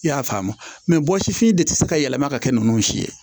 I y'a faamu wɔsifin de ti se ka yɛlɛma ka kɛ nunnu si ye